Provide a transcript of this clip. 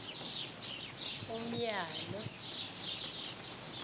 umyalo